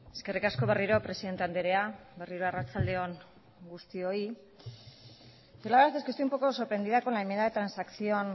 eskerrik asko berriro presidente andrea berriro arratsalde on guztioi yo la verdad es que estoy un poco sorprendida con la enmienda transacción